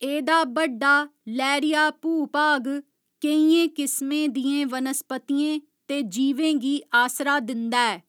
एह्दा बड्डा, लैह्‌रिया भूभाग केइयें किसमें दियें वनस्पतियें ते जीवें गी आसरा दिंदा ऐ।